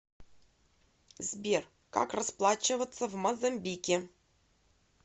сбер как расплачиваться в мозамбике